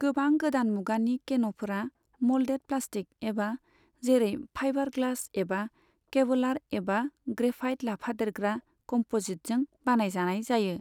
गोबां गोदान मुगानि केन'फोरा मल्डेड प्लास्टिक एबा जेरै फाइबार ग्लास एबा केवलार एबा ग्रेफाइट लाफादेरग्रा कम्प'जिटजों बानायजानाय जायो।